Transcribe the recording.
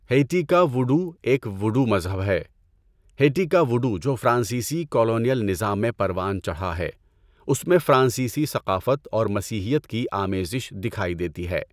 Haiti کا voodoo ایک voodoo مذہب ہے۔ ہیٹی کا وُڈوو جو فرانسیسی کالونیل نظام میں پروان چڑھا ہے اس میں فرانسیسی ثقافت اور مسیحیت کی آمیزش دکھائی دیتی ہے۔